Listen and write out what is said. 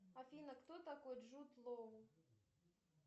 афина кто такой джуд лоу